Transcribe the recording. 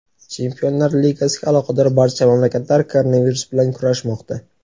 Chempionlar Ligasiga aloqador barcha mamlakatlar koronavirus bilan kurashmoqda.